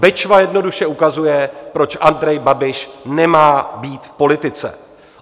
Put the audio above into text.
Bečva jednoduše ukazuje, proč Andrej Babiš nemá být v politice.